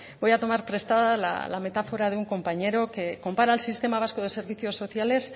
voy a tomar prestada la metáfora de un compañero que compara el sistema vasco de servicios sociales